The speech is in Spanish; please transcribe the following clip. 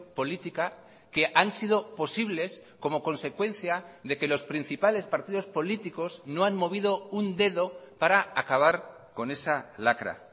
política que han sido posibles como consecuencia de que los principales partidos políticos no han movido un dedo para acabar con esa lacra